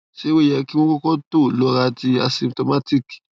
se o ye ki won yo koko to lora ti asymptomatic